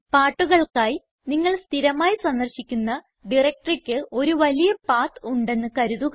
പാട്ടുകൾക്കായി നിങ്ങൾ സ്ഥിരമായി സന്ദർശിക്കുന്ന directoryയ്ക്ക് ഒരു വലിയ പത്ത് ഉണ്ടെന്ന് കരുതുക